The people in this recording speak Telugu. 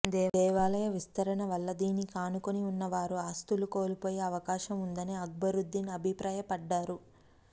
దేవాలయ విస్తరణ వల్ల దీనికి ఆనుకుని ఉన్న వారు ఆస్తులు కోల్పోయే అవకాశం ఉందని అక్బరుద్దీన్ అభిప్రాయపడ్డారు